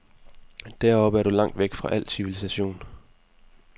Deroppe er du langt væk fra al civilisation.